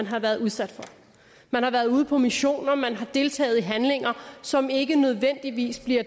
har været udsat for man har været ude på missioner man har deltaget i handlinger som ikke nødvendigvis bliver